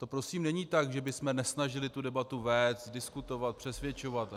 To prosím není tak, že bychom nesnažili tu debatu vést, diskutovat, přesvědčovat.